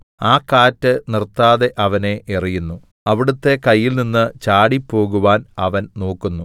ആ കാറ്റ് നിർത്താതെ അവനെ എറിയുന്നു അവിടുത്തെ കയ്യിൽനിന്ന് ചാടിപ്പോകുവാൻ അവൻ നോക്കുന്നു